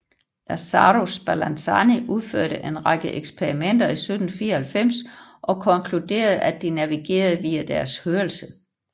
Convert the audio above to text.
Lazzaro Spallanzani udførte en række eksperimenter i 1794 og konkluderede at de navigerede via deres hørelse